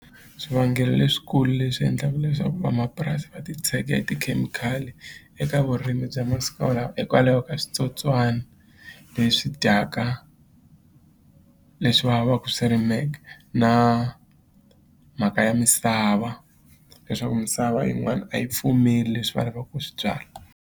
Swivangelo leswikulu leswi endlaka leswaku vamapurasi va titshega hi tikhemikhali eka vurimi bya masiku lawa hikwalaho ka switsotswana leswi dyaka leswi va va swi rimeke na mhaka ya misava leswaku misava yin'wana a yi pfumeli leswi va lava ku swi byala.